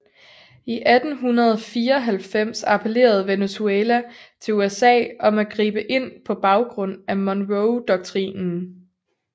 I 1894 appellerede Venezuela til USA om at gribe ind på baggrund af Monroedoktrinen